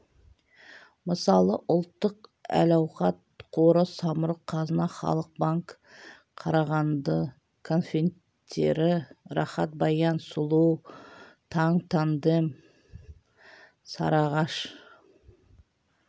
мысалы ұлттық әл-ауқат қоры самұрық қазына халық банк қарағанды конфеттері рахат баян сұлу таң тандем сарыағаш